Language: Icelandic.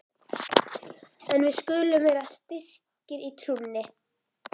En við skulum vera styrkir í trúnni!